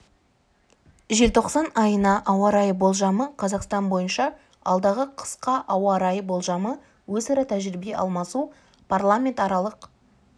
желтоқсан айына ауа райы болжамы қазақстан бойынша алдағы қысқа ауа райы болжамы өзара тәжірибе алмасу парламентаралық